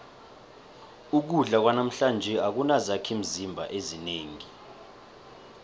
ukudla kwanamhlanje akunazakhimzimba ezinengi